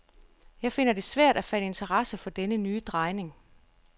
Jeg finder det svært at fatte interesse for denne nye drejning.